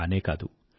కానే కాదు